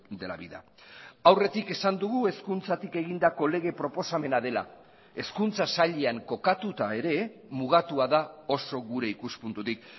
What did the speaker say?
de la vida aurretik esan dugu hezkuntzatik egindako lege proposamena dela hezkuntza sailean kokatuta ere mugatua da oso gure ikuspuntutik